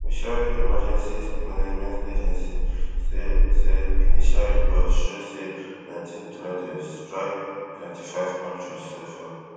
missouri emergency management agency say say initial reports show say nineteen tornadoes strike twenty-five counties so far